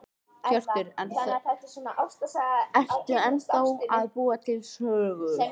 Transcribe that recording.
Hjörtur: Ertu ennþá að búa til sögur?